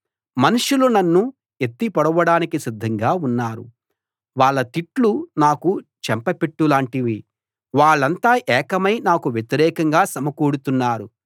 మనుషులు నన్ను ఎత్తి పొడవడానికి సిద్ధంగా ఉన్నారు వాళ్ళ తిట్లు నాకు చెంపపెట్టులాంటివి వాళ్ళంతా ఏకమై నాకు వ్యతిరేకంగా సమకూడుతున్నారు